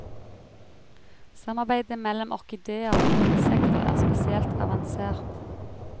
Samarbeidet mellom orkidéer og insekter er spesielt avansert.